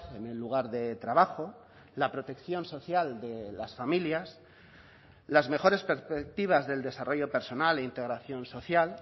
en el lugar de trabajo la protección social de las familias las mejores perspectivas del desarrollo personal e integración social